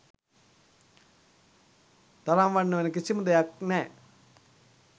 තරම් වටින වෙන කිසිම දෙයක් නෑ.